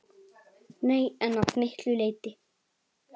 Nei, en að miklu leyti.